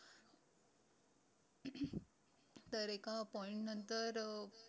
तर एका point नंतर अं